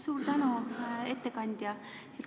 Suur tänu, ettekandja!